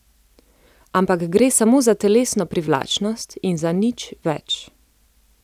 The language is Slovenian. Ampak gre samo za telesno privlačnost in za nič več.